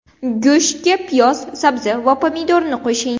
Go‘shtga piyoz, sabzi va pomidorni qo‘shing.